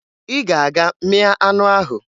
Ị ga-aga mịa anụ ahụ!